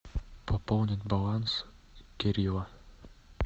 пополнить баланс кирилла